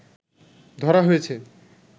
ধরা হয়েছে